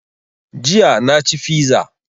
Jiya na ci fiza